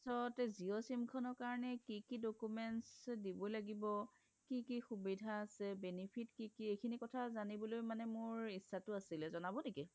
তাৰপিছত জিঅ' sim খনৰ কাৰনে কি কি documents দিব লাগিব কি কি সুবিধা আছে benefit কি কি এইখিনি কথা জানিবৰ কাৰনে মোৰ ইত্স্শা তু আছিলে জনাব নেকি?